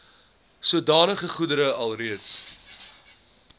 sodanige goedere alreeds